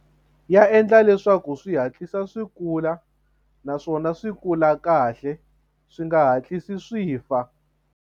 Ya endla leswaku swi hatlisa swi kula naswona swi kula kahle swi nga hatlisi swi fa.